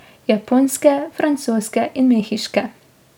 Japonske, francoske in mehiške.